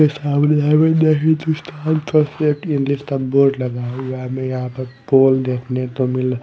इस हाउली हाईवे ने हिन्दुस्तान थर्सलेट इंग्लिश का बोर्ड लगा हुआ हमें यहां पर पोल देखने तो मिल--